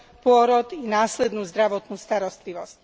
pôrod i následnú zdravotnú starostlivosť.